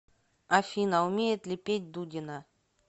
афина умеет ли петь дудина